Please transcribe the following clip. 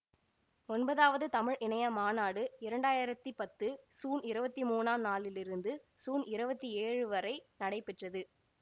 ஒன்பதாவது தமிழ் இணைய மாநாடு இரண்டாயிரத்தி பத்து சூன் இருவத்தி மூனாம் நாளிலிருந்து சூன் இரவத்தி ஏழு வரை நடைபெற்றது